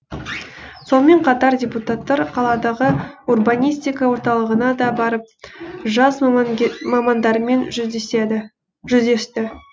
сонымен қатар депутаттар қаладағы урбанистика орталығына да барып жас мамандармен жүздесті